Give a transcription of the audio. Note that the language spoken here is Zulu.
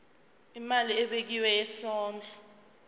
imali ebekiwe yesondlo